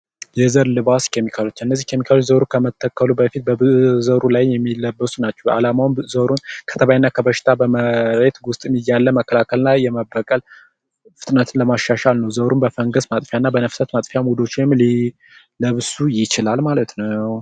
የዘር ልባስ ኬሚካሎች እነዚህ ኬሚካሎች ዞሮ ከመተከሉ በፊት በዘሩ ላይ ናቸው። አላማውም ከተባይና ከበሽታ በመሬት ውስጥም እያለ መከላከል እና የመበቀል ፍጥነትን ለማሻሻል ነው። ዞሮም በፈንገስ ማጥፊያና በነፍሳት ማጥፊ ሙሉዎችን ሊለብሱ ይችላል ማለት ነው።